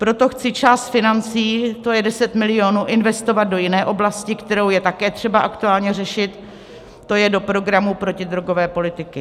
Proto chci část financí, to je 10 milionů, investovat do jiné oblasti, kterou je také třeba aktuálně řešit, to je do programu protidrogové politiky.